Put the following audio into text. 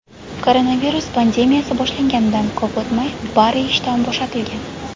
Koronavirus pandemiyasi boshlanganidan ko‘p o‘tmay, Barri ishdan bo‘shatilgan.